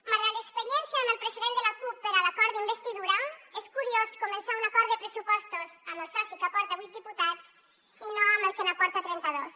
malgrat l’experiència amb el president de la cup per a l’acord d’investidura és curiós començar un acord de pressupostos amb el soci que aporta vuit diputats i no amb el que n’aporta trenta dos